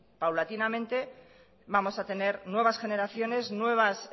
paulatinamente vamos a tener nuevas generaciones nuevas